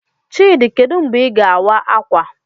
Chidi, kedu mgbe Ị ga-awa ákwà?